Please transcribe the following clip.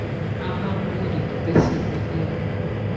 ага будут косить налево